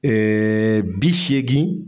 Ee bi seegin